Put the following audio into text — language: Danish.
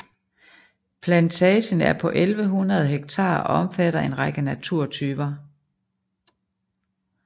Plantagen er på 1100 ha og omfatter en række naturtyper